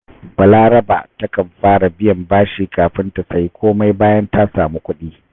Balaraba takan fara biyan bashi kafin ta sayi komai bayan ta samu kuɗi